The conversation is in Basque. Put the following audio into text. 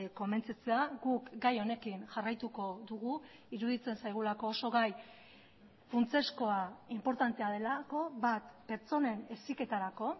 konbentzitzea guk gai honekin jarraituko dugu iruditzen zaigulako oso gai funtsezkoa inportantea delako bat pertsonen heziketarako